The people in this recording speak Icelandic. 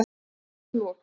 Hátíðinni var lokið.